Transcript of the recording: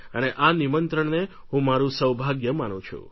અને આ નિમંત્રણને હું મારું સૌભાગ્ય માનું છું